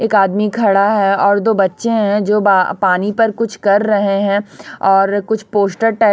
एक आदमी खड़ा है और दो बच्चे हैं जो बा पानी पर कुछ कर रहे हैं और कुछ पोस्टर टे--